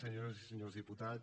senyores i senyors diputats